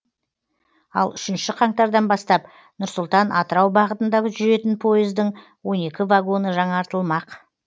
ал үшінші қаңтардан бастап нұр сұлтан атырау бағытында жүретін пойыздың он екі вагоны жаңартылмақ